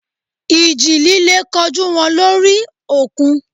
Ìjì líle kojú wọn lórí òkun.